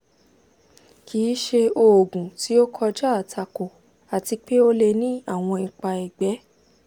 kì í ṣe oògùn tí ó kọjá àtakò àti pé ó lè ní àwọn ipa ẹ̀gbẹ́